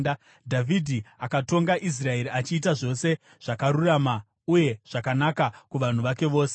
Dhavhidhi akatonga Israeri achiita zvose zvakarurama uye zvakanaka kuvanhu vake vose.